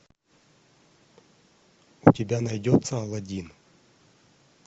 у тебя найдется алладин